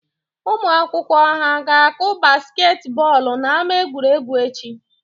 Ụmụ akwụkwọ ha ga-akụ basket bọọlụ n'ama egwuregwu echi?